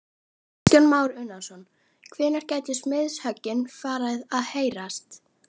Kristján Már Unnarsson: Hvenær gætu smiðshöggin farið að heyrast?